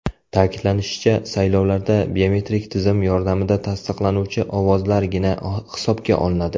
Ta’kidlanishicha, saylovlarda biometrik tizim yordamida tasdiqlanuvchi ovozlargina hisobga olinadi.